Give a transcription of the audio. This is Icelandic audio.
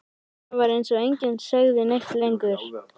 Það var eins og enginn segði neitt lengur.